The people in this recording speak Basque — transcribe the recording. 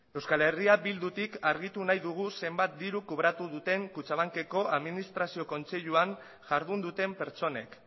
euskal herria bildutik argitu nahi dugu zenbat diru kobratu duten kutxabankeko administrazio kontseiluan jardun duten pertsonek